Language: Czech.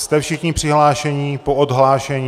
Jste všichni přihlášení po odhlášení?